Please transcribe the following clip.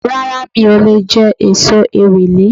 Rárá mi ò leè jé èso Ewèlè